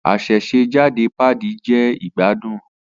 Asesejade paadi je igbadun.